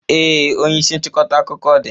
Ee, onye isi nchịkọta akụkọ dị.